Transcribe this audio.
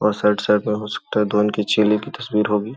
और side side में हो सकता है ध्वनि की चेले की तस्वीर होगी।